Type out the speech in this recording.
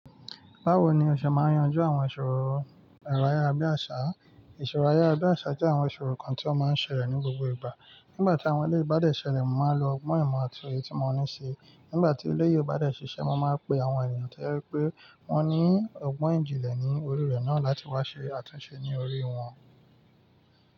Báwo ni o ṣe máa ń yanjú àwọn ìṣòro ẹ̀rọ ayàra bi àṣá? Ìṣòro ayàra bi àṣá jẹ́ àwọn ìṣòro kan tí wọ́n máa ń ṣẹlẹ̀ ní gbogbo ìgbà. Nígbà tí àwọn eleyi bádẹ̀ ṣẹlẹ̀, mo máa lo ọgbọ́n ìmọ̀ àti òye tí mo ní ṣi. Nígbà tí ele yì o bá de ṣiṣẹ́, mo máa pe àwọn ènìyàn tí jẹ pé wọ́n ní ọgbọ́n ìjìnlẹ̀ ní orí rẹ̀ náà láti wá ṣe àtúnṣe ní orí wọn.